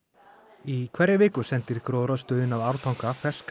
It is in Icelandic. í hverri viku sendir gróðrarstöðin að Ártanga ferskar